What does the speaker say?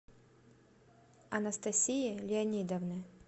анастасии леонидовны